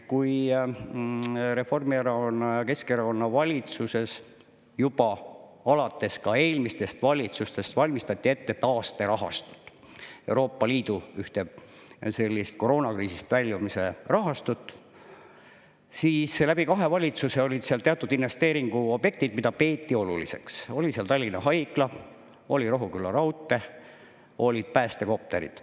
Kui Reformierakonna ja Keskerakonna valitsuses juba alates eelmistest valitsustest valmistati ette taasterahastut, Euroopa Liidu ühte sellist koroonakriisist väljumise rahastut, siis läbi kahe valitsuse olid seal teatud investeeringuobjektid, mida peeti oluliseks – seal oli Tallinna Haigla, oli Rohuküla raudtee, olid päästekopterid.